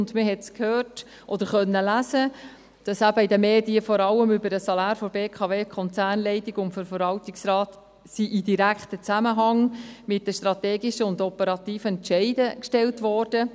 Man hörte es oder konnte lesen, dass in den Medien eben vor allem das Salär der BKWKonzernleitung und des Verwaltungsrates in direktem Zusammenhang mit den strategischen und operativen Entscheiden gestellt wurden.